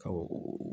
Ɔ